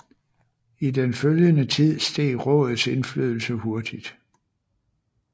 I den følgende tid steg rådets indflydelse hurtig